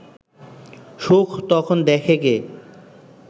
সুখ তখন দেখে কে